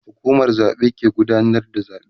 hukumar zaɓe ke gudanar da zaɓe